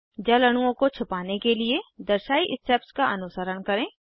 जल अणुओं को छिपाने के लिए दर्शायी स्टेप्स का अनुसरण करें